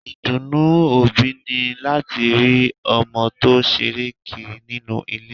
Ìdùnnú òbí ni láti rí ọmọ tó ṣeré kiri nínú ilé